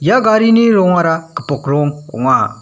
ia garini rongara gipok rong ong·a.